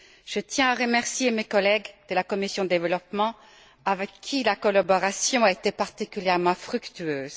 Je tiens à remercier mes collègues de la commission du développement, avec qui la collaboration a été particulièrement fructueuse.